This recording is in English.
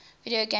video game crash